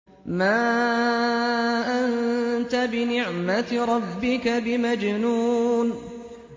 مَا أَنتَ بِنِعْمَةِ رَبِّكَ بِمَجْنُونٍ